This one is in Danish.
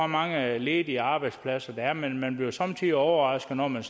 mange ledige arbejdspladser der er men man bliver jo somme tider overrasket når man